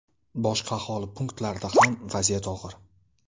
Boshqa aholi punktlarida ham vaziyat og‘ir.